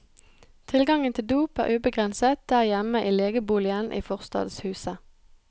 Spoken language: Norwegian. Tilgangen til dop er ubegrenset der hjemme i legeboligen i forstadshuset.